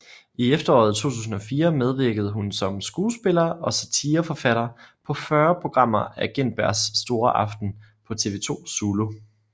I efteråret 2004 medvirkede hun som skuespiller og satireforfatter på 40 programmer af Gintbergs store aften på TV 2 Zulu